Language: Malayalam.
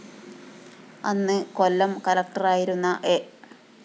അന്ന് കൊല്ലം കളക്ടറായിരുന്ന എ